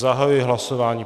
Zahajuji hlasování.